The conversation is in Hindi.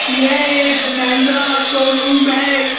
यह एक महिंद्रा शोरूम है।